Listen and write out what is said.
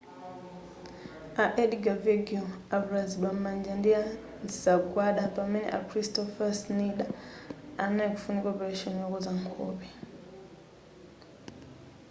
a edgar veguilll avulazidwa m'manja ndi nsagwada pamene a kristoffer schneider anali kufunika opeleshoni yokonza nkhope